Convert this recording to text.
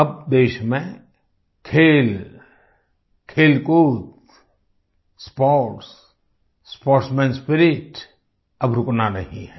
अब देश में खेल खेलकूद स्पोर्ट्स स्पोर्ट्समैन स्पिरिट अब रुकना नहीं है